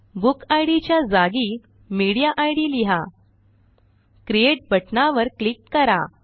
book id च्या जागी media id लिहा क्रिएट बटणावर क्लिक करा